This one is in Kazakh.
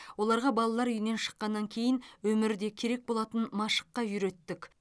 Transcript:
оларға балалар үйінен шыққаннан кейін өмірде керек болатын машыққа үйреттік